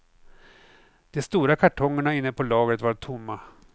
De stora kartongerna inne på lagret var tomma.